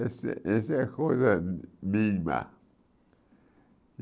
Esse esse é coisa mínima.